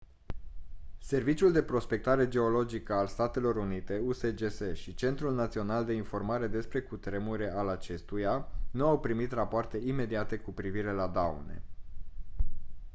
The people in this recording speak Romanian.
serviciul de prospectare geologică al statelor unite usgs și centrul național de informare despre cutremure al acestuia nu au primit rapoarte imediate cu privire la daune